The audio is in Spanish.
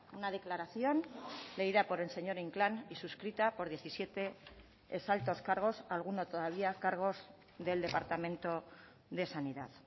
una declaración leída por el señor inclán y suscrita por diecisiete ex altos cargos alguno todavía cargos del departamento de sanidad